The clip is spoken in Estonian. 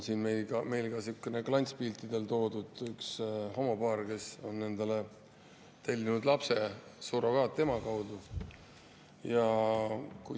Meil on ka sihuke, klantspiltidel homopaar, kes on endale tellinud lapsed surrogaatema kaudu.